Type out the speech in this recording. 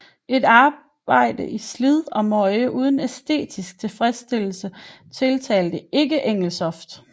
Et arbejde i slid og møje uden æstetisk tilfredsstillelse tiltalte ikke Engelstoft